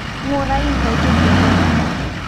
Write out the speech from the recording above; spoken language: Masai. ngurai nkaitubulu